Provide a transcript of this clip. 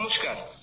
নমস্কার